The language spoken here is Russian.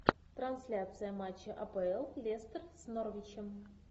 трансляция матча апл лестер с норвичем